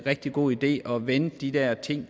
rigtig god idé at vende de her ting